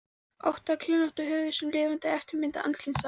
ótta kringlótta höfuð sem er lifandi eftirmynd andlitsins á